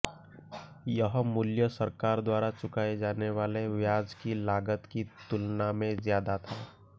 यह मूल्य सरकार द्वारा चुकाए जाने वाले ब्याज की लागत की तुलना में ज्यादा था